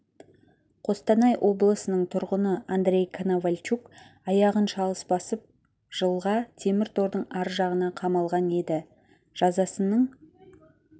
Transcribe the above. қостанай облысының тұрғыны андрей коновальчук аяғын шалыс басып жылға темір тордың ар жағына қамалған еді жазасының